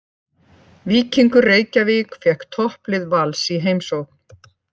Víkingur Reykjavík fékk topplið Vals í heimsókn.